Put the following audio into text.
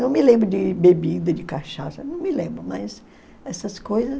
Não me lembro de bebida, de cachaça, não me lembro mais. Essas coisas...